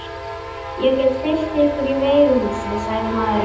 Ég get fylgt ykkur í veiðihúsið, sagði maðurinn.